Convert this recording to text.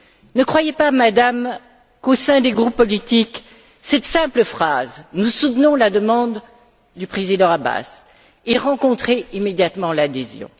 Ne croyez pas, Madame, qu'au sein des groupes politiques, cette simple phrase Nous soutenons la demande du Président Abbas ait rencontré immédiatement l'adhésion.